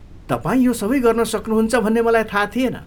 तपाईँ यो सबै गर्न सक्नुहुन्छ भन्ने मलाई थाहा थिएन।